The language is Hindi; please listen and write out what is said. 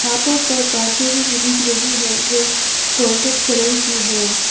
हाथों पर बांसुरी भी दिख रही है जो गोल्डन कलर की है।